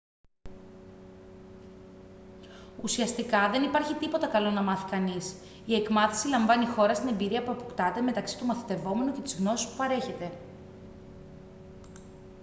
ουσιαστικά δεν υπάρχει τίποτα καλό να μάθει κανείς η εκμάθηση λαμβάνει χώρα στην εμπειρία που αποκτάται μεταξύ του μαθητευόμενου και της γνώσης που παρέχεται